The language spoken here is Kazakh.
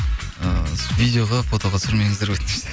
ыыы видеоға фотоға түсірмеңіздер өтініш деп